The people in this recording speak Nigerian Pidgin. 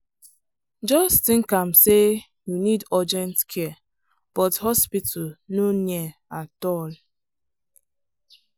just think am say you need urgent care but hospital no near at all.